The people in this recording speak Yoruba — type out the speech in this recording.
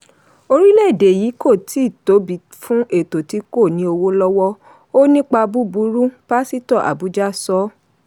"orílẹ̀-èdè yìí kò tíì tóbi fún ètò tí kò ní owó lọ́wọ́; ó n nípa búburú pásítọ̀ abuja sọ.